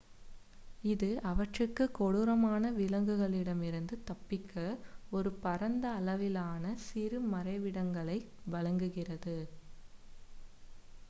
இது அவற்றிற்கு கொடூரமான விலங்குகளிடமிருந்து தப்பிக்க ஒரு பரந்த அளவிலான சிறு மறைவிடங்களை வழங்குகிறது